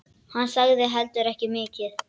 Hann sagði heldur ekki mikið.